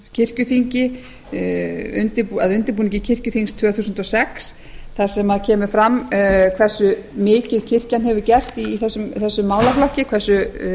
kirkjuþingi að undirbúningi kirkjuþings tvö þúsund og sex þar sem kemur fram hversu mikið kirkjan hefur gert í þessum málaflokki hversu